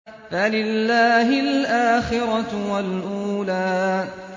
فَلِلَّهِ الْآخِرَةُ وَالْأُولَىٰ